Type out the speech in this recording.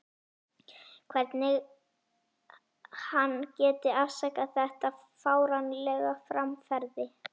Hvernig hann geti afsakað þetta fáránlega framferði.